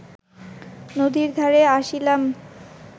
নদীর ধারে আসিলাম